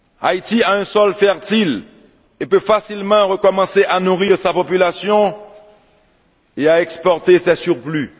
Haïti a un sol fertile et peut facilement recommencer à nourrir sa population et à exporter ses surplus.